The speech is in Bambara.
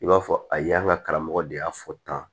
I b'a fɔ a ye an ka karamɔgɔ de y'a fɔ tan